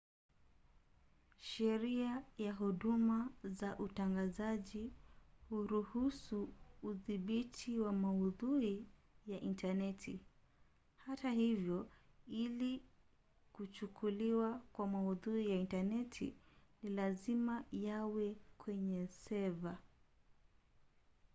sheria ya huduma za utangazaji huruhusu udhibiti wa maudhui ya intaneti hata hivyo ili kuchukuliwa kuwa maudhui ya intaneti ni lazima yawe kwenye seva